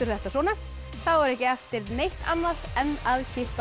þetta svona þá er ekki eftir neitt annað en að kippa